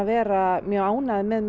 vera mjög ánægður með